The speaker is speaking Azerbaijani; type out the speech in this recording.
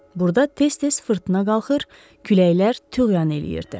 Burda tez-tez fırtına qalxır, küləklər tüğyan eləyirdi.